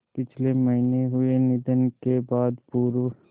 पिछले महीने हुए निधन के बाद पूर्व